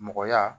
Mɔgɔya